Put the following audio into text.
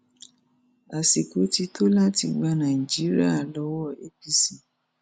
àsìkò ti tó láti gba nàìjíríà lọwọ apc